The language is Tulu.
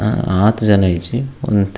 ಆ ಆತ್ ಜನ ಇಜ್ಜಿ ಒಂತೆ.